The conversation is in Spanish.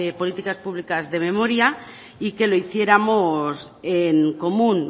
políticas públicas de memoria y que lo hiciéramos en común